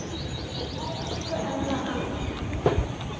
Elsku Ella amma.